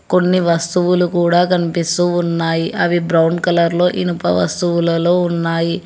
కొన్ని వస్తువులు కూడా కన్పిస్తూ ఉన్నాయి అవి బ్రౌన్ కలర్లో ఇనుప వస్తువులలో ఉన్నాయి.